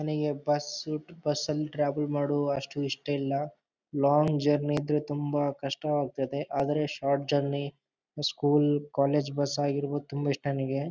ನನಗೆ bus bus ನಲ್ಲಿ travel ಮಾಡೋವ ಅಷ್ಟು ಇಷ್ಟ ಇಲ್ಲ ಲಾಂಗ್ ಜರ್ನಿ ಅಂದ್ರೆ ತುಂಬಾ ಕಷ್ಟವಾಗ್ತದ್ದೆ ಆದರೆ short journey school college bus ಆಗಿರ್ಬದು ತುಂಬಾ ಇಷ್ಟ ನನಿಗೆ.